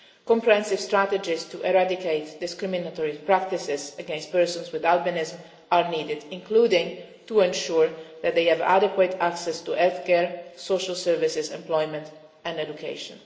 Comprehensive strategies to eradicate discriminatory practices against persons with albinism are needed, including to ensure that they have adequate access to health care, social services, employment and education.